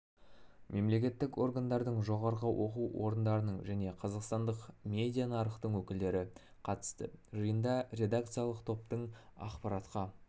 мемлекеттік органдардың жоғары оқу орындарының және қазақстандық медиа нарықтың өкілдері қатысты жиында редакциялық топтың ақпаратқа